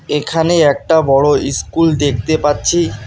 এখানে একটা বড় ইস্কুল দেখতে পাচ্ছি।